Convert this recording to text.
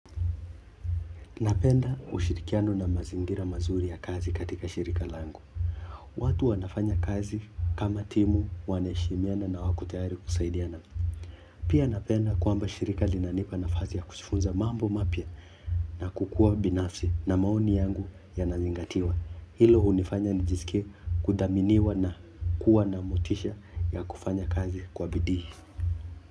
Napenda ushirikiano na mazingira mazuri ya kazi katika shirika langu watu wanafanya kazi kama timu wanaheshimiana na wako tayari kusaidiana. Pia napenda kwamba shirika linanipa nafasi ya kujifunza mambo mapya na kukuwa binafsi na maoni yangu yanazingatiwa. Hilo hunifanya nijisikie kudhaminiwa na kuwa na motisha ya kufanya kazi kwa bidii.